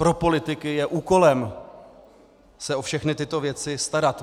Pro politiky je úkolem se o všechny tyto věci starat.